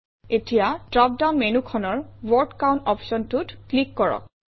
এতিয়া drop down মেনুখনৰ word count অপশ্যনটোত ক্লিক কৰক